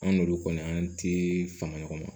An n'olu kɔni an ti fanga ɲɔgɔn ma